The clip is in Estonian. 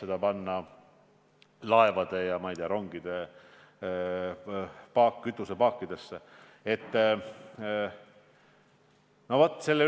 Aga ka amps on palju suurem – nagu ma ütlesin, võrreldes härra Ossinovski ekspertiisiga on see kaks korda suurem.